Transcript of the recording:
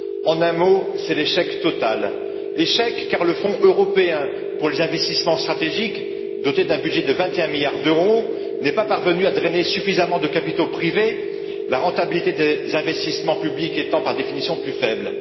en un mot, c'est l'échec total. Échec, car le fonds européen pour les investissements stratégiques, doté d'un budget de 21 milliards d'euros, n'est pas parvenu à drainer suffisamment de capitaux privés, la rentabilité des investissements publics étant par définition plus faible.